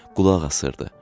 Qulaq asırdı.